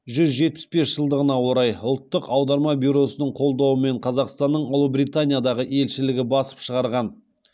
жүз жетпіс бес жылдығына орай ұлттық аударма бюросының қолдауымен қазақстанның ұлыбританиядағы елшілігі басып шығарған